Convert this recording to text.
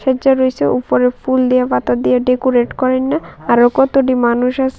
উচা রয়েসে উপরে ফুল দিয়ে পাতা দিয়ে ডেকোরেট করেননা আরও কতডি মানুষ আস--